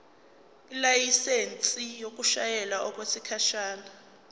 ilayisensi yokushayela okwesikhashana